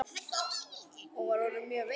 Hún var orðin mjög veik.